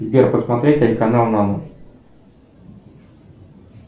сбер посмотреть телеканал наво